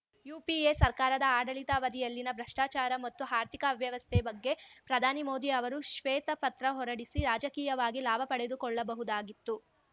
UPA ಸರ್ಕಾರದ ಆಡಳಿತಾವಧಿಯಲ್ಲಿನ ಭ್ರಷ್ಟಾಚಾರ ಮತ್ತು ಆರ್ಥಿಕ ಅವ್ಯವಸ್ಥೆ ಬಗ್ಗೆ ಪ್ರಧಾನಿ ಮೋದಿ ಅವರು ಶ್ವೇತಪತ್ರ ಹೊರಡಿಸಿ ರಾಜಕೀಯವಾಗಿ ಲಾಭಪಡೆದುಕೊಳ್ಳಬಹುದಾಗಿತ್ತು